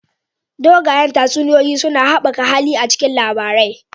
Dogayen tatsuniyoyi suna haɓaka hali a cikin labarai